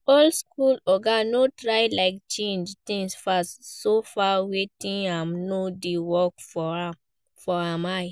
Old school oga no sey like change things fast, so far wetin im know dey work for im eye